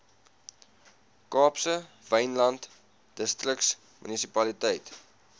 kaapse wynland distriksmunisipaliteit